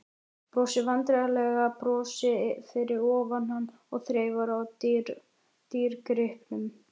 Brosir vandræðalegu brosi fyrir ofan hann og þreifar á dýrgripnum.